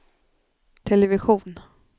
television